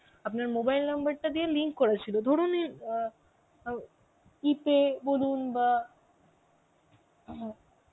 আপনার mobile number টা দিয়ে link করা ছিল ধরুন অ্যাঁ আও E-pay বলুন বা